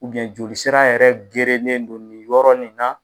jolisira yɛrɛ gerenen do ni yɔrɔ nin na.